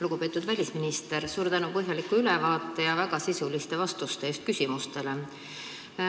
Lugupeetud välisminister, suur tänu põhjaliku ülevaate ja väga sisuliste vastuste eest küsimustele!